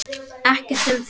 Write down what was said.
Ekkert um það.